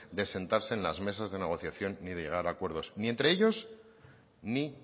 de sentarse en las mesas de negociación ni de llegar a acuerdos ni entre a ellos ni